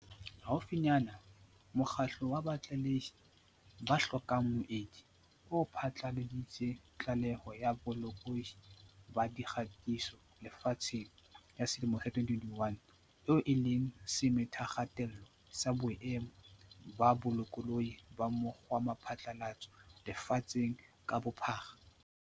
Haufinyane, mokgatlo wa Batlalehi ba hlokang Moedi o phatlaladitse Tlaleho ya Bolokolohi ba Dikgatiso Lefatsheng ya selemo sa 2021, eo e leng semethakgatello sa boemo ba bolokolohi ba mo kgwaphatlalatso lefatsheng ka bophara.